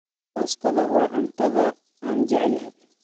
Baastadu waa cuntada aan jeclahay.